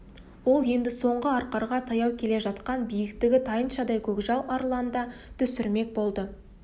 ол енді соңғы арқарға таяу келе жатқан биіктігі тайыншадай көкжал арланды түсірмек болды